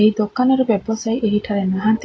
ଏଇ ଦୋକାନର ବ୍ୟବସାୟୀ ଏହିଠାରେ ନାହାନ୍ତି--